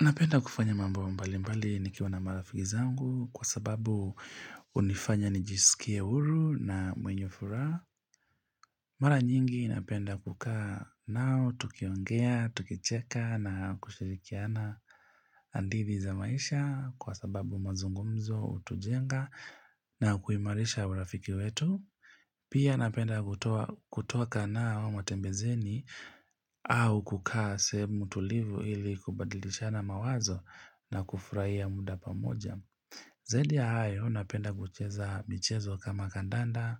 Napenda kufanya mambo mbali mbali nikiwa na marafiki zangu kwa sababu hunifanya nijisikie huru na mwenye furaha. Mara nyingi napenda kukaa nao, tukiongea, tukicheka na kushirikiana hadithi za maisha kwa sababu mazungumzo, hutujenga na kuimarisha urafiki wetu. Pia napenda kutoka nao matembezeni au kukaa sehemu tulivu ili kubadilishana mawazo na kufurahia muda pamoja. Zaidi ya hayo napenda kucheza michezo kama kandanda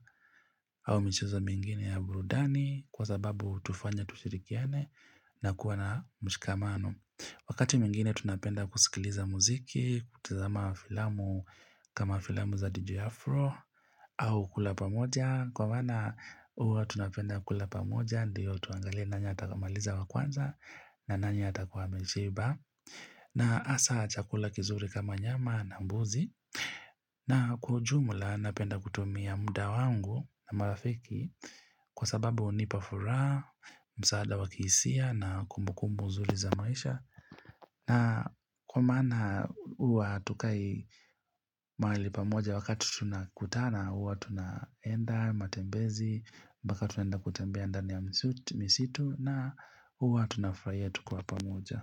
au michezo mingine ya burudani kwa sababu hutufanya tushirikiane na kuwa na mshikamano. Wakati mwingine tunapenda kusikiliza muziki, kutizama filamu kama filamu za DJ Afro au kula pamoja. Kwa maana huwa tunapenda kula pamoja ndiyo tuangalie nani atakaye maliza wa kwanza na nani atakuwa ameshiba. Na hasa chakula kizuri kama nyama na mbuzi. Na kwa ujumla napenda kutumia muda wangu na marafiki kwa sababu hunipa furaha, msaada wakisia na kumbukumbu nzuri za maisha. Na kwa maana huwa hatukai mahali pamoja wakati tunakutana huwa tunaenda matembezi mbaka tunenda kutembea ndani ya msitu na huwa tuna furahia tukiwa pamoja.